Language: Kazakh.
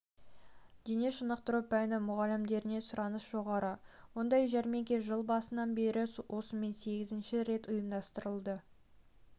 дене шынықтыру пәні мұғалімдеріне сұраныс жоғары мұндай жәрмеңке жыл басынан бері осымен сегізінші рет ұйымдастырылды